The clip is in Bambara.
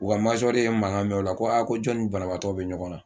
U ka ye mankan mɛn o la ko a ko jɔnni banabaatɔ bɛ ɲɔgɔn na